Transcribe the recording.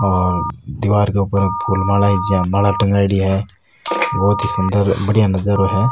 और दिवार क ऊपर फूल माला की जिया माला टँगायेड़ी है बहुत ही सुंदर बड़िया नजारो है।